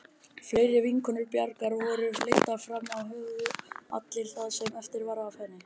Fleiri vinkonur Bjargar voru leiddar fram og höfðu allar það sama eftir henni.